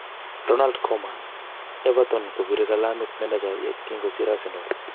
Ronald Koeman: Everton kobire kalamit manecha ye kingosir Arsenal.